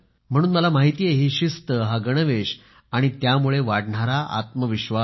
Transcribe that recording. म्हणून मला माहिती आहे ही शिस्त हा गणवेश आणि त्यामुळे वाढणारा आत्मविश्वास